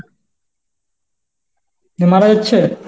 মারা যাচ্ছে?